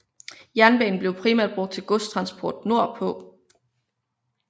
Jernbanen blev primært brugt til godstransport nordpå